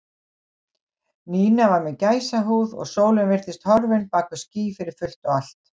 Nína var með gæsahúð og sólin virtist horfin bak við ský fyrir fullt og allt.